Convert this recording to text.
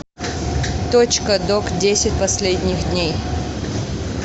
точка док десять последних дней